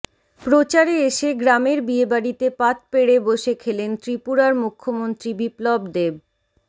প্রচারে এসে গ্রামের বিয়েবাড়িতে পাত পেড়ে বসে খেলেন ত্রিপুরার মুখ্যমন্ত্রী বিপ্লব দেব